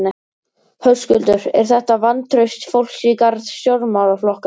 Höskuldur: Er þetta vantraust fólks í garð stjórnmálaflokka?